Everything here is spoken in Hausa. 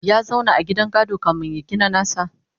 ya zauna a gidan gado kamin ya gina nasa?